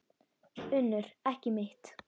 UNNUR: Ekki mitt.